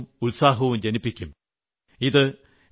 നമ്മിൽ പുതിയ ഉണർവ്വും ഉത്സാഹവും ജനിപ്പിക്കും